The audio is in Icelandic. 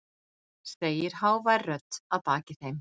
segir hávær rödd að baki þeim.